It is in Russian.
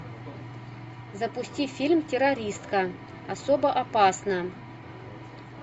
запусти фильм террористка особо опасна